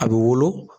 A bɛ wolo